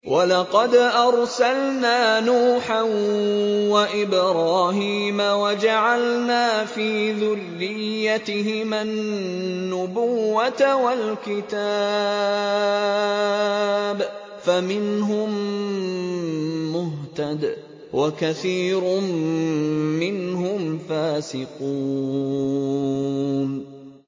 وَلَقَدْ أَرْسَلْنَا نُوحًا وَإِبْرَاهِيمَ وَجَعَلْنَا فِي ذُرِّيَّتِهِمَا النُّبُوَّةَ وَالْكِتَابَ ۖ فَمِنْهُم مُّهْتَدٍ ۖ وَكَثِيرٌ مِّنْهُمْ فَاسِقُونَ